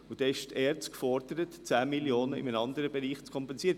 Somit ist die ERZ gefordert, in einem anderen Bereich 10 Mio. Franken einzusparen.